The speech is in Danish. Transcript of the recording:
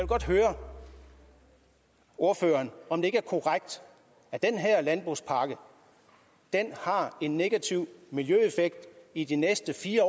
godt høre ordføreren om det ikke er korrekt at den her landbrugspakke har en negativ miljøeffekt i de næste fire